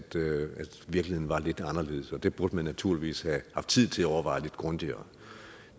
virkeligheden var lidt anderledes og det burde man naturligvis have haft tid til at overveje lidt grundigere